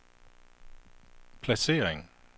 placering